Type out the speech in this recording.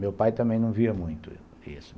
Meu pai também não via muito isso.